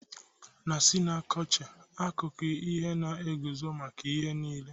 Na synecdoche, akụkụ nke ihe na-eguzo maka ihe niile.